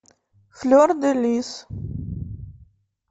флер де лис